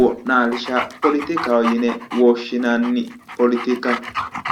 wo'naalshsha polotikaho yine woshshinanni polotika.